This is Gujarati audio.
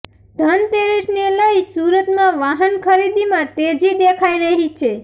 ધનતેરસને લઈ સુરતમાં વાહન ખરીદીમાં તેજી દેખાઇ રહી છે